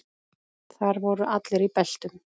Þar voru allir í beltum.